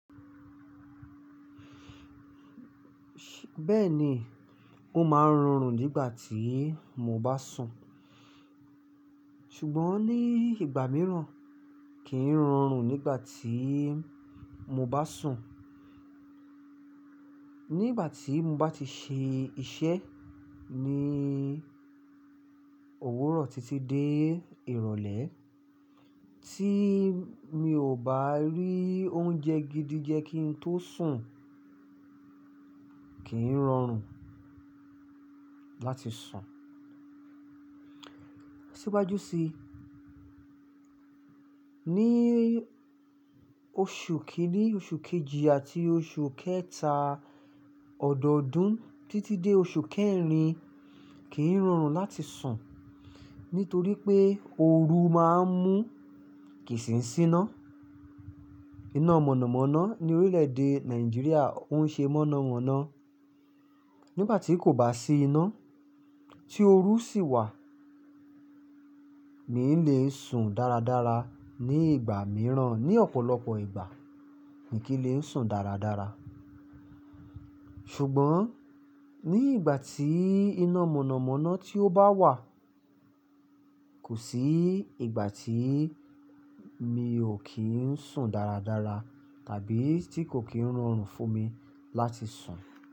Bẹ́ẹ̀ ni, ó máa ń rorùn nígbà tí mo bá sùn. Ṣùgbọ́n ní ìgbà mìíràn kì í rọrùn nígbà tí mo bá sùn. Nígbà tí mo bá ti ṣe iṣẹ́ ní òwúrọ̀ títí dé ìrọ̀lẹ́ tí mi ò bá rí oúnjẹ gidi jẹ kí n tó sùn, kì í rọrùn láti sùn. Síwájú sí, ní oṣù kìíní, oṣù kejì àti oṣù kẹta ọ̀dọọdún títí dé oṣù kẹrin, kì í rọrùn láti sùn nítorí pé ooru máa ń mú kìí ṣì síná. Iná mọ̀nàmọ́ná ní orílẹ̀ èdè Nàìjíríà ń ṣe mọ́nà mọ́ná. Nígbà tí kò bá sí iná tí ooru sì wà, mi n lè sùn dáradára ní ìgbà mìíràn. Ní ọ̀pọ̀lọpọ̀ ìgbà mi kí n lè sùn dáradára. Ṣùgbọ́n ní ìgbà tí iná mọ̀nàmọ́ná tí ó bá wà, kò sí ìgbà tí mi ò kí ń sùn dáradára tàbí tí kò kí ń rọrùn fún mi láti sùn.